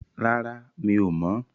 Rárá, mi ò mọ̀.